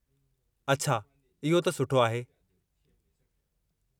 अछा, इहो त सुठो आहे।